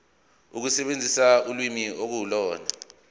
ukusebenzisa ulimi ukuhlola